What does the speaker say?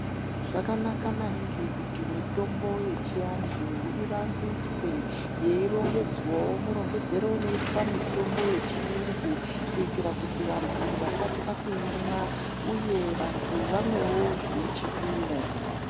Zvakanaka maningi kuti mitombo yechiantu ivandutswe yerongedzwawo murongedzerewo unoitwa mitombo yechiyungu kuitira kuti vantu vasatya kuimwa, uye vantu vamwewo zvine chipimo.